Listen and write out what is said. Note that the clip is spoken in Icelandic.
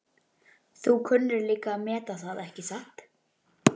Þú kunnir líka að meta það, ekki satt?